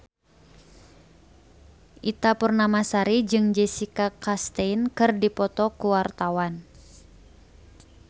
Ita Purnamasari jeung Jessica Chastain keur dipoto ku wartawan